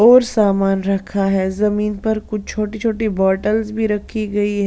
और सामान रखा है जमीन पर कुछ छोटी-छोटी बोतल्स भी रखी गई है।